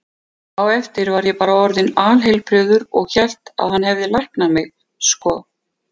Á eftir var ég bara orðinn alheilbrigður og hélt að hann hefði læknað mig, sko.